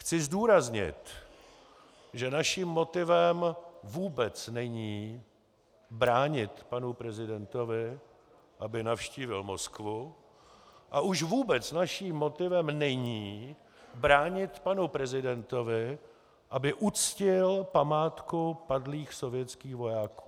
Chci zdůraznit, že naším motivem vůbec není bránit panu prezidentovi, aby navštívil Moskvu, a už vůbec naším motivem není bránit panu prezidentovi, aby uctil památku padlých sovětských vojáků.